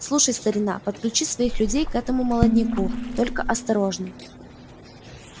слушай старина подключи своих людей к этому молодняку только осторожно